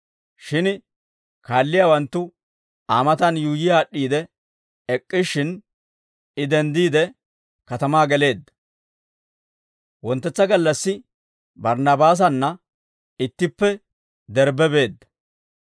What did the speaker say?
Shin kaalliyaawanttu Aa matan yuuyyi aad'd'iide ek'k'ishshin, I denddiide, katamaa geleedda. Wonttetsa gallassi Barinabaasanna ittippe Derbbe beedda.